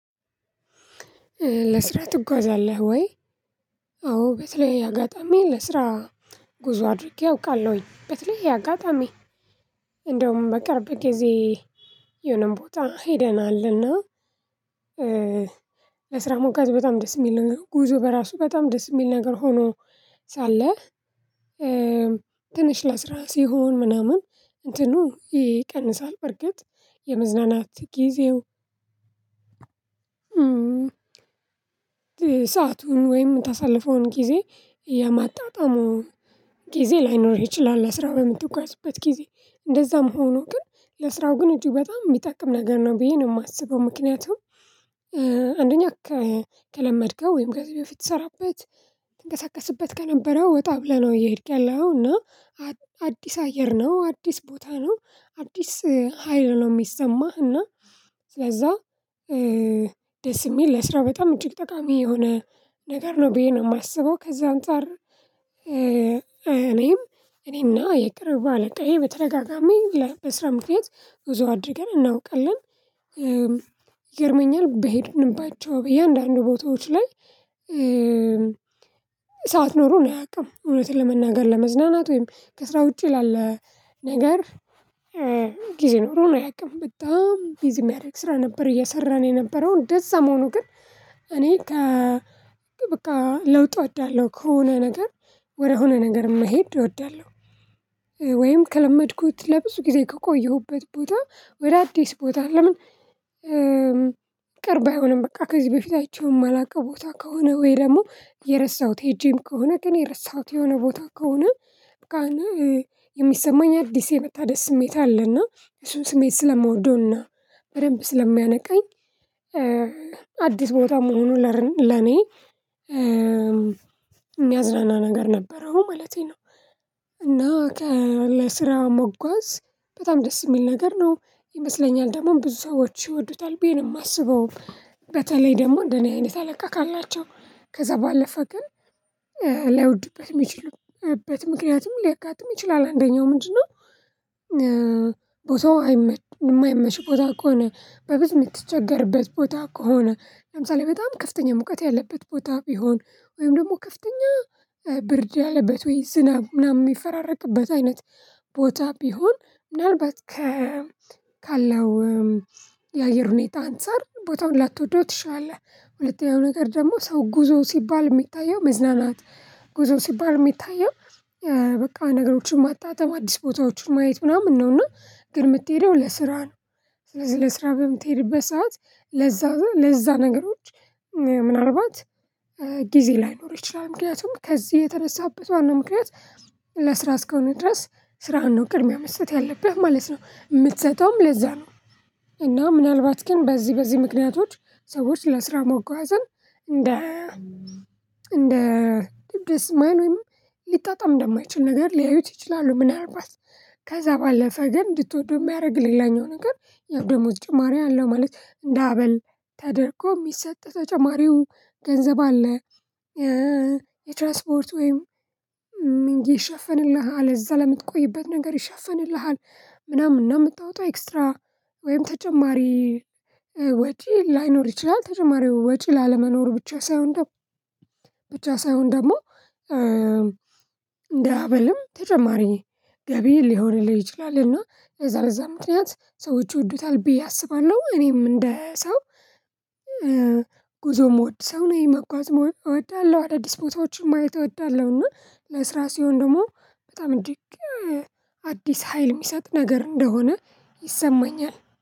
ለስራ ትጓዛለህ ወይ? አዎ በተለያየ አጋጣሚ ለስራ ጉዞ አድርጌ አውቃለሁኝ በተለያየ አጋጣሚ። እንደውም በቅርብ ጊዜ የሆነም ቦታ ሄደናልና። ለስራ ሞጋት በጣም ደስ የሚል ነገር ጉዞ በራሱ በጣም ደስ የሚል ነገር ሆኖ ሳለ ትንሽ ለስራ ሲሆን ምናምን እንትኑ ይቀንሳል በርግጥ የመዝናናት ጊዜው ሰአቱን ወይም የምታሳልፈውን ጊዜ የማጣጣሙ ጊዜ ላይኖርህ ይችላል። ለስራ በምትጓዝበት ጊዜ እንደዛም ሆኖ ግን ለስራው ግን እጅግ በጣም የሚጠቅም ነገር ነው ብዬ ነው የማስበው። ምክንያቱም አንደኛ ከለመድከው ወይም ከዚ በፊት ምትሰራበት ትንቀሳቀስበት ከነበረው ወጣ ብለህ ነው እየሄድክ ያለው። እና አዲስ አየር ነው አዲስ ቦታ ነው አዲስ ሀይል ነው ሚሰማህ እና ስለዛ ደስ የሚል ለስራ በጣም እጅግ ጠቃሚ የሆነ ነገር ነው ብዬ ነው የማስበው። ከዛ አንፃር እኔም እኔና የቅርብ አለቃዬ በተደጋጋሚ በስራ ምክንያት ብዙ አድርገን እናውቃለን። ይገርመኛል በሄድንባቸው በያንዳንዱ ቦታዎች ላይ ኖሮን አያውቅም እውነቱን ለመናገር ለመዝናናት ወይም ከስራ ውጪ ላለ ነገር ጊዜ ኖሮን አያውቅም። በጣም ቢዚ የሚያደርግ ስራ ነበር እየሰራን የነበረው እንደዛ ሆኖ ግን እኔ ከ በቃ ለውጥ እወዳለሁ። ከሆነ ነገር ወደሆነ ነገር መሄድ እወዳለሁ ወይም ከለመድኩት ለብዙ ጊዜ ከቆየሁበት ቦታ ወደ አዲስ ቦታ ለምን ቅርብ አይሆንም በቃ ከዚህ በፊት አይቼውም አላውቀው ቦታ ከሆነ ወይ ደግሞ የረሳሁት ሄጄም ከሆነ ግን የረሳሁት የሆነ ቦታ ከሆነ በቃ እና የሚሰማኝ አዲስ የመታደስ ስሜት አለና እሱን ስሜት ስለምወደውና በደንብ ስለሚያነቃኝ። አዲስ ቦታ መሆኑ ለኔ የሚያዝናና ነገር ነበረው ማለቴ ነው። እና ለስራ መጓዝ በጣም ደስ የሚል ነገር ነው ይመስለኛል ደግሞ ብዙ ሰዎች ይወዱታል ብዬ ነው የማስበው። በተለይ ደግሞ እንደኔ አይነት አለቃ ካላቸው ከዛ ባለፈ ግን ላይወድበት የሚችሉበት ምክንያትም ሊያጋጥም ይችላል። አንደኛው ምንድነው? ቦታው ማይመች ቦታ ከሆነ በፊት የምትቸገርበት ቦታ ከሆነ ለምሳሌ በጣም ከፍተኛ ሙቀት ያለበት ቦታ ቢሆን ወይም ደግሞ ከፍተኛ ብርድ ያለበት ወይ ዝናብ ምናምን የሚፈራረቅበት አይነት ቦታ ቢሆን ምናልባት ከ ካለው የአየር ሁኔታ አንፃር ቦታውን ላትወደው ትችላለህ። ሁለተኛው ነገር ደግሞ ሰው ጉዞ ሲባል የሚታየው መዝናናት ጉዞ ሲባል የሚታየው በቃ ነገሮችን ማጣጣም አዲስ ቦታዎችን ማየት ምናምን ነውና ግን የምትሄደው ለስራ ነው። ስለዚህ ለስራ በምትሄድበት ሰዓት ለዛ ለዛ ነገሮች ምናልባት ጊዜ ላይኖር ይችላል ምክንያቱም ከዚህ የተነሳህበት ዋናው ምክንያት ለስራ እስከሆነ ድረስ ስራህን ነው ቅድሚያ መስጠት ያለብህ ማለት ነው የምትሰጠውም ለዛ ነው። እና ምናልባት ግን በዚህ በዚህ ምክንያቶች ሰዎች ለስራ መጓዝን እንደ እንደ ድስ ማይል ወይም ሊጣጣም እንደማይችል ነገር ሊያዩት ይችላሉ። ምናልባት ከዛ ባለፈ ግን እንድትወደው የሚያደርግልህ ሌላኛው ነገር የደሞዝ ጭማሪ አለው ማለት እንደ አበል ተደርጎ የሚሰጥ ተጨማሪው ገንዘብ አለ። የትራንስፖርት ወይም ይሸፍንልሃል እዛ ለምትቆይበት ነገር ይሸፍንልሃል ምናምን እና የምታወጣው ኤክስትራ ወይም ተጨማሪ ወጪ ላይኖር ይችላል። ተጨማሪው ወጪ ላለመኖሩ ብቻ ሳይሆን ደግሞ ብቻ ሳይሆን ደግሞ እንዳ አበልም ተጨማሪ ገቢ ሊሆንልህ ይችላል። እና በዛ በዛ ምክንያት ሰዎች ይወዱታል ብዬ አስባለሁ እኔም እንደ ሰው ጉዞም ምወድ ሰው ነው መጓዝ መሆን እወዳለሁ። አዳዲስ ቦታዎችን ማየት እወዳለሁ እና ለስራ ሲሆን ደግሞ በጣም እንዲህ አዲስ ሀይል የሚሰጥ ነገር እንደሆነ ይሰማኛል